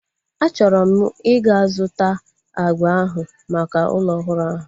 A chọrọ m ịga zụta agba ahu maka ụlọ ọhụrụ ahu